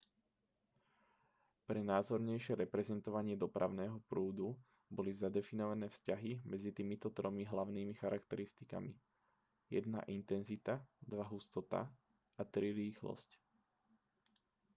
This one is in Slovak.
pre názornejšie reprezentovanie dopravného prúdu boli zadefinované vzťahy medzi týmito tromi hlavnými charakteristikami: 1 intenzita 2 hustota a 3 rýchlosť